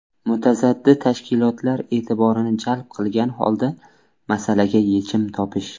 Mutasaddi tashkilotlar e’tiborini jalb qilgan holda, masalaga yechim topish.